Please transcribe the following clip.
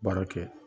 Baara kɛ